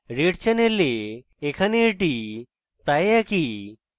red channel এখানে এটি প্রায় একই